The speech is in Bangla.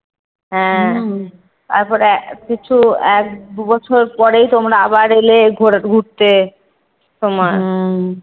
তারপরে কিছু এক দুবছর পরেই তোমরা আবার এলে ঘুরে~ ঘুরতে তোমার।